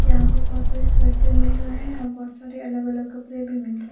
यहाँ पे बहुत सारे स्वेटर मिल रहे हैं और बहुत सारे अलग-अलग कपड़े भी मिल र --